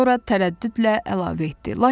Sonra tərəddüdlə əlavə etdi.